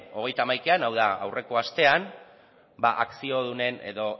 hogeita hamaikaean hau da aurreko astean